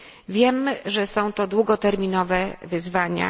Wiem, że są to długoterminowe wyzwania.